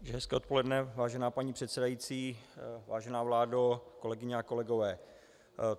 Hezké odpoledne, vážená paní předsedající, vážená vládo, kolegyně a kolegové.